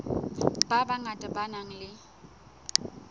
ba bangata ba nang le